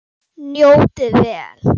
Njótið vel.